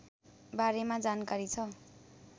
बारेमा जानकारी छ